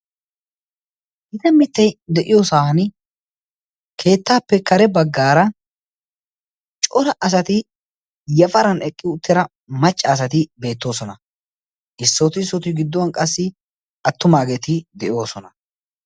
Gita mittati de'iyoosaan keettaappe kare baggaara cora asati yafaran eqqi uttida macca asati beettoosona. Issooti issooti gidduwan qassi attumaageetikka de'oosona.